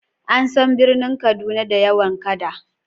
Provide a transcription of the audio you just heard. An san birnin Kaduna da yawan kada.